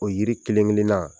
O yiri kelen kelen na.